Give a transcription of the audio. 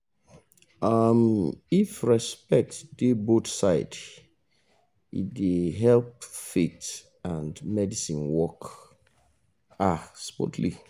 um if respect dey both side it dey help faith and medicine work ah smoothly